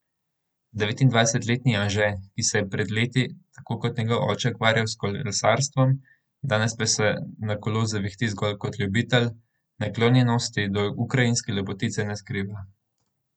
Devetindvajsetletni Anže, ki se je pred leti tako kot njegov oče ukvarjal s kolesarstvom, danes pa se na kolo zavihti zgolj kot ljubitelj, naklonjenosti do ukrajinske lepotice ne skriva.